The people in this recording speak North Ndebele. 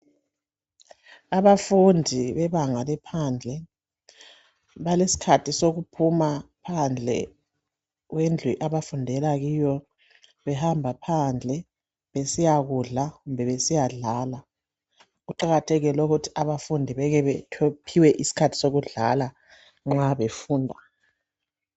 Abafundi bebanga laphansi balesikhathi sokuphuma phandle kwendlu abafundela kiyo. Behamba phandle besiyakudla kumbe besiyadlala. Kuqakathekile lokhu ukuthi abafundi beke bephiwe isikhathi sokudlala nxa befunda.